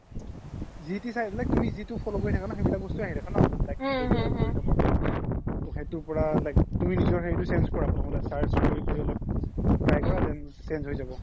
G তি চাই like তুমি জিতো follow কৰি থাকা সেইবিলাক বস্তুয়ে আহি থাকে ন like তুমি নিজৰ হেৰিতো change কৰা প্ৰথমতে search কৰি কৰি অলপ try কৰা then change হয় যাব